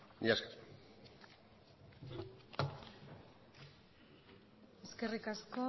mila esker eskerrik asko